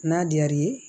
N'a diyara i ye